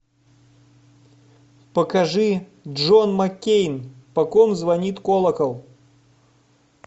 покажи джон маккейн по ком звонит колокол